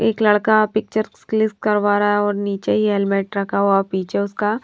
एक लड़का picture click करवा रहा है और नीचे ही हेलमेट रखा हुआ पीछे उसका।